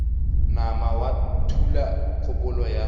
nama wa thula kgopolo ya